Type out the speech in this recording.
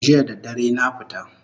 Jiya da dare na fita